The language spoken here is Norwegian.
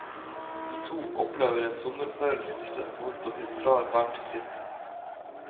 De to opplever en sommerforelskelse hvorpå de drar hver til sitt.